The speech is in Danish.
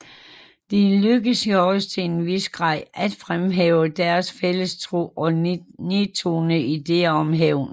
Det lykkedes Joris til en vis grad at fremhæve deres fælles tro og nedtone ideerne om hævn